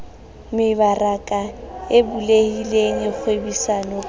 mebaraka e bulehileng kgwebisano ka